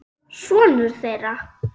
Sonur þeirra.